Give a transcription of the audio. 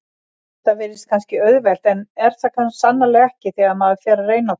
Þetta virðist kannski auðvelt en er það sannarlega ekki þegar maður fer að reyna það.